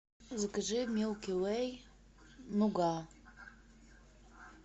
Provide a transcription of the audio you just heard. закажи милки вэй нуга